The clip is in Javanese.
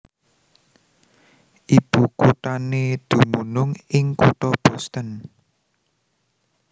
Ibukuthané dumunung ing kutha Boston